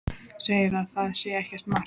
Segir að það sé ekkert mark á mér takandi.